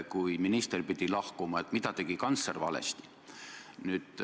Kui minister pidi lahkuma, siis mida tegi kantsler valesti?